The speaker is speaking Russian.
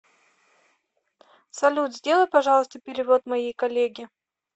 салют сделай пожалуйста перевод моей коллеге